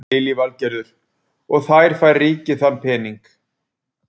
Lillý Valgerður: Og þær fær ríkið þann pening?